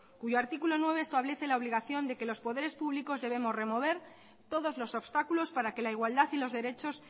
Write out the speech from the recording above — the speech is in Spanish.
cuyo artículo nueve establece la obligación de que los poderes públicos debemos remover todos los obstáculos para que la igualdad y los derechos